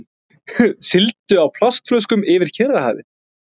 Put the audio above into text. Sigldu á plastflöskum yfir Kyrrahafið